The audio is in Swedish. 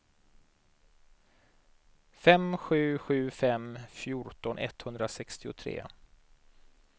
fem sju sju fem fjorton etthundrasextiotre